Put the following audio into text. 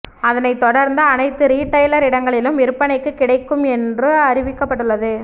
அதனைத் தொடர்ந்து அனைத்து ரீடைலர் இடங்களிலும் விற்பனைக்குக் கிடைக்கும் என்று அறிவிக்கப்பட்டுள்ளது